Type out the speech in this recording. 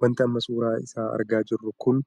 Wanti amma suuraa isaa argaa jirru kun